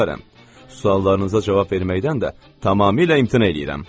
Suallarınıza cavab verməkdən də tamamilə imtina eləyirəm.